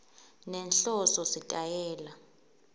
nenhloso sitayela